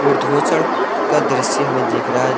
का दृश्य हमे दिखा रहा है।